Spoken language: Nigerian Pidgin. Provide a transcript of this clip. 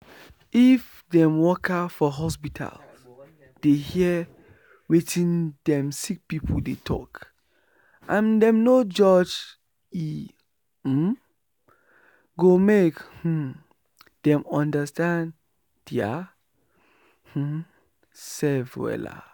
if dem worker for hospital dey hear wetin dem sick pipu dey talk and dem no judge e um go make um dem understand dia um sef wella.